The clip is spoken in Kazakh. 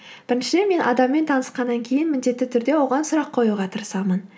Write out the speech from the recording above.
бірінші мен адаммен танысқаннан кейін міндетті түрде оған сұрақ қоюға тырысамын